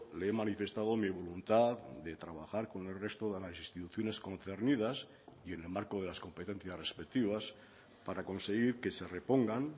le he manifestado mi voluntad de trabajar con el resto de las instituciones concernidas y en el marco de las competencias respectivas para conseguir que se repongan